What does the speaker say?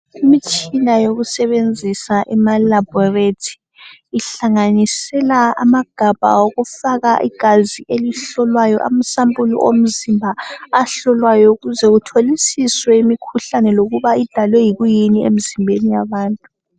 Imtshina yokusebenzisa ema laboratory ihlanganisela amagabha okufaka igazi elihlolwayo amasampuli omzimba ahlolwayo ukuze kuhlolisiswe imikhuhlane lokuba idalwe yini emizimbeni yabantu.